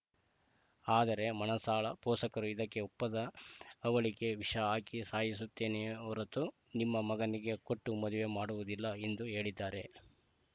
ಆದರೆ ಮಾನಸಾಳ ಪೋಷಕರು ಇದಕ್ಕೆ ಒಪ್ಪದ ಅವಳಿಗೆ ವಿಷ ಹಾಕಿ ಸಾಯಿಸುತ್ತೇನೆ ಹೊರತು ನಿಮ್ಮ ಮಗನಿಗೆ ಕೊಟ್ಟು ಮದುವೆ ಮಾಡೋದಿಲ್ಲ ಎಂದು ಹೇಳಿದ್ದಾರೆ